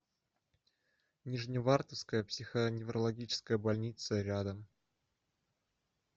нижневартовская психоневрологическая больница рядом